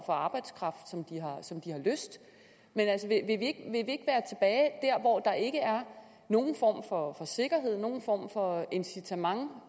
for arbejdskraft som de har lyst men altså vil at der ikke er nogen form for sikkerhed eller nogen form for incitament